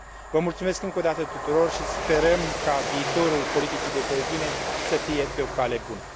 Vă mulțumesc încă o dată tuturor și sperăm ca viitorul politicii de coeziune să fie pe o cale bună.